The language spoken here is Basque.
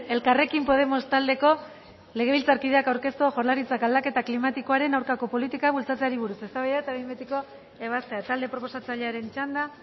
elkarrekin podemos taldeko legebiltzarkideak aurkeztua jaurlaritzak aldaketa klimatikoaren aurkako politika bultzatzeari buruz eztabaida eta behin betiko ebazpena talde proposatzailearen txanda